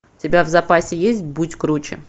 у тебя в запасе есть будь круче